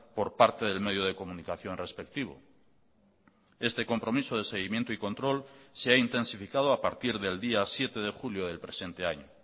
por parte del medio de comunicación respectivo este compromiso de seguimiento y control se ha intensificado a partir del día siete de julio del presente año